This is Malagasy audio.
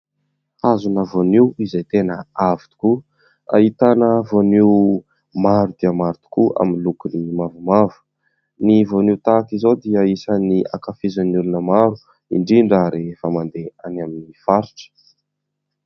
Hazona voanio izay tena avo tokoa ahitana voanio maro dia maro tokoa amin'ny lokony mavomavo. Ny voanio tahaka izao dia isan'ny ankafizin'ny olona maro indrindra rehefa mandeha any amin'ny faritra.